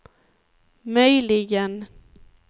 möjligen